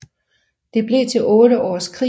Det blev til otte års krig